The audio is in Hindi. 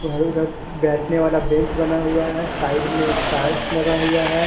बैठने वाला बेंच बना हुआ है साइड में टाइल्स लगा हुआ है।